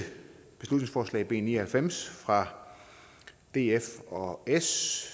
beslutningsforslag b ni og halvfems fra df og s